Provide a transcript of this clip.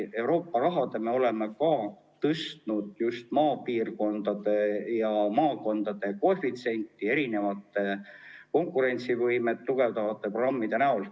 Euroopa Liidu raha toel me oleme tõstnud just maapiirkondade ja maakondade koefitsienti, eelkõige konkurentsivõimet tugevdavate programmide näol.